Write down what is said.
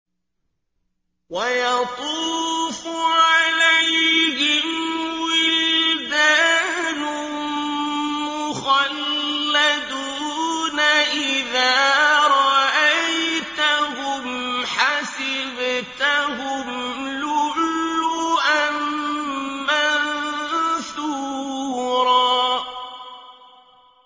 ۞ وَيَطُوفُ عَلَيْهِمْ وِلْدَانٌ مُّخَلَّدُونَ إِذَا رَأَيْتَهُمْ حَسِبْتَهُمْ لُؤْلُؤًا مَّنثُورًا